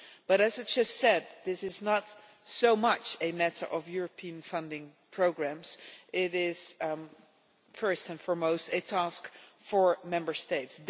But, as I have just said, this is not so much a matter of European funding programmes, it is first and foremost a task for Member States.